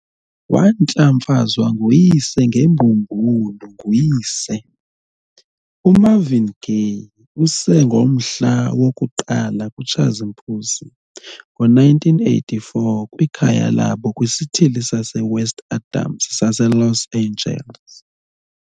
Wantlamfazwa nguyise ngembululu nguyise, uMarvin Gay, Sr. ngomhla woku-1 kuTshazimpuzi, ngo1984, kwikhaya labo kwisithili saseWest Adams saseLos Angeles.